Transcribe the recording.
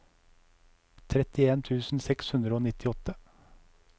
trettien tusen seks hundre og nittiåtte